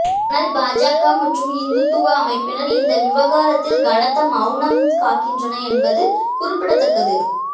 ஆனால் பாஜக மற்றும் இந்துத்துவா அமைப்பினர் இந்த விவகாரத்தில் கனத்த மவுனம் காக்கின்றன என்பது குறிப்பிடத்தக்கது